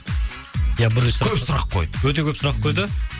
ия бірінші сұрақ көп сұрақ қойды өте көп сұрақ қойды